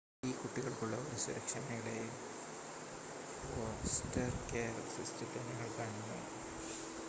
ഈ കുട്ടികൾക്കുള്ള ഒരു സുരക്ഷാ മേഖലയായി ഫോസ്റ്റർ കെയർ സിസ്റ്റത്തെ ഞങ്ങൾ കാണുന്നു